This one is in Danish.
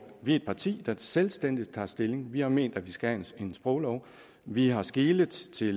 vi er et parti der selvstændigt tager stilling vi har ment at vi skal have en sproglov vi har skelet til